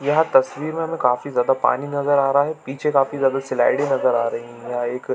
यह तस्वीर में हमें काफी ज्यादा पानी नज़र आ रहा है पीछे काफी ज्यादा स्लाइडे नज़र आ रही है एक--